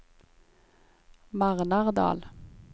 Marnardal